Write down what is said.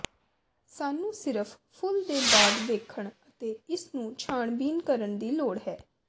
ਸਾਨੂੰ ਸਿਰਫ ਫੁੱਲ ਦੇ ਬਾਅਦ ਵੇਖਣ ਅਤੇ ਇਸ ਨੂੰ ਛਾਣਬੀਣ ਕਰਨ ਦੀ ਲੋੜ ਹੈ